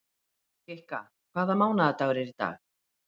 Kikka, hvaða mánaðardagur er í dag?